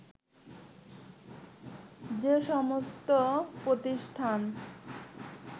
যে সমস্ত প্রতিষ্ঠান